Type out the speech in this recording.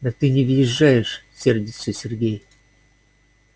да ты не въезжаешь сердится сергей